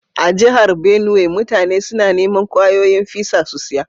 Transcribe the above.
A'jihar Benue, mutane suna niman kwayoyin fisa su siya.